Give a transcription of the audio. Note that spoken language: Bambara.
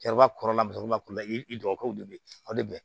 Cɛkɔrɔba kɔrɔlakalan kɔrɔ i dɔgɔkɛw de bɛ o de bɛ